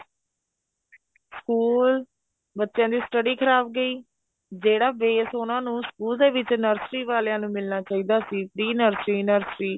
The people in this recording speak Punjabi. school ਬੱਚਿਆਂ ਦੀ study ਖਰਾਬ ਗਈ ਜਿਹੜਾ base ਉਹਨਾ ਨੂੰ school ਦੇ ਵਿੱਚ nursery ਵਾਲਿਆ ਨੇ ਮਿਲਣਾ ਚਾਹੀਦਾ ਸੀ pre nursery nursery